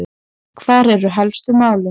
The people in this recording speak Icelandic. Hver eru helstu málin?